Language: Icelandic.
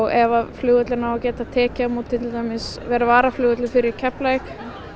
ef flugvöllurinn á að geta tekið á móti til dæmis vera varaflugvöllur fyrir Keflavík